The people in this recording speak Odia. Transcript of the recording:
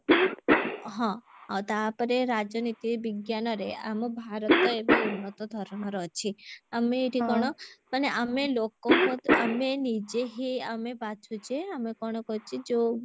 ହଁ ଆଉ ତାପରେ ରାଜନୀତି ବିଜ୍ଞାନରେ ଆମ ଭାରତ ଏବେ ଉନ୍ନତ ଧରଣର ଅଛି ଆମେ ଏଠି କଣ ମାନେ ଆମେ ଲୋକଙ୍କ ଆମେ ନିଜେ ହିଁ ଆମେ ବାଛୁଚେ ଆମେ କଣ କରୁଛେ ଯଉ